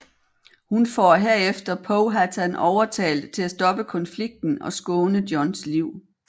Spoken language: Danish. Hun får herefter Powhatan overtalt til at stoppe konflikten og skåne Johns liv